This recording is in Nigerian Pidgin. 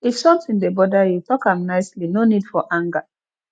if sometin dey bother you tok am nicely no need for anger